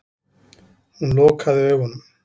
Hún lokaði augunum.